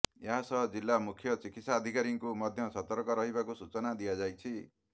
ଏହାସହ ଜିଲ୍ଲା ମୁଖ୍ୟ ଚିକିତ୍ସାଧିକାରୀଙ୍କୁ ମଧ୍ୟ ସତର୍କ ରହିବାକୁ ସୂଚନା ଦିଆଯାଇଛି